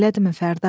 Elədimi Fərda?